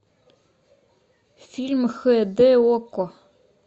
фильм хэ дэ окко